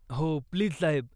हो, प्लीज साहेब